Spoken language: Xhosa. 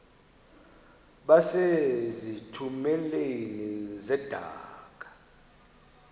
base zitulmeni zedaka